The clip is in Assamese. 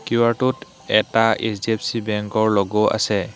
কিউআৰটোত এটা এচ_ডি_এফ_চি বেংকৰ লোগো আছে।